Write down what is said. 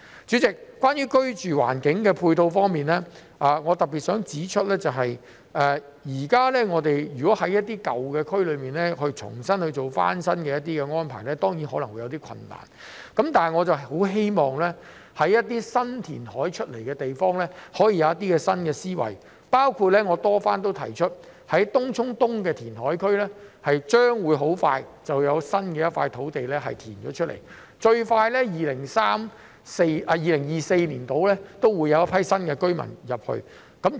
主席，在居住環境的配套方面，我想特別指出，如果現時要在一些舊區重新進行翻新，當然可能會有些困難。但是，對於一些填海得來的新土地，我很希望政府可以有些新思維，包括我曾多番提出在東涌東的填海區將很快會有一塊填海得來的土地，最快在大約2024年便會有居民遷入。